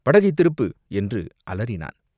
படகைத் திருப்பு!" என்று அலறினான்.